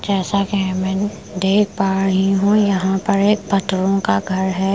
जैसा कि मैं देख पा रही हूँ यहाँ पर एक पत्थरों का घर है ।